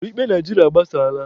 Usoro ikpe Naijiria agbasaala.